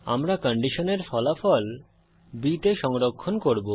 আমরা কন্ডিশনের ফলাফল b তে সংরক্ষণ করব